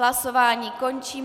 Hlasování končím.